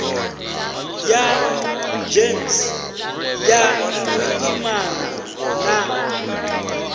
ya gems ya vhuimana na